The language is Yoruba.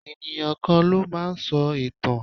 Ènìyàn kan ló máa ń sọ ìtàn.